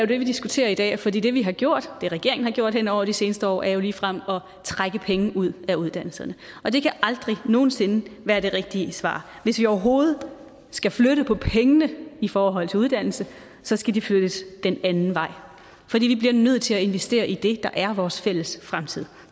vi diskuterer i dag for det vi har gjort det regeringen har gjort hen over de seneste år er jo ligefrem at trække penge ud af uddannelserne det kan aldrig nogen sinde være det rigtige svar hvis vi overhovedet skal flytte på pengene i forhold til uddannelse så skal de flyttes den anden vej for vi bliver nødt til at investere i det der er vores fælles fremtid